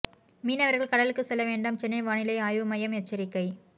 மீனவர்கள் கடலுக்கு செல்ல வேண்டாம் சென்னை வானிலை ஆய்வு மையம் எச்சரிக்கை